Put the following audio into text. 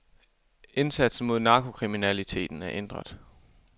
Indsatsen mod narkokriminaliteten er ændret.